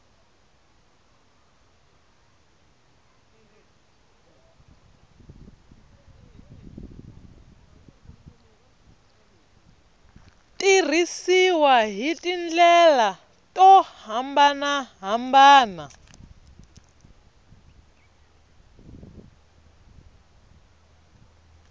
tirhisiwa hi tindlela to hambanahambana